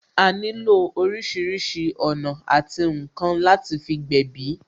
A nílò orísìírísìí ọ̀nà àti ǹkan láti fi gbèbí